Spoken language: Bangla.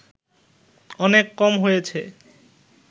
অনেক কম হয়েছে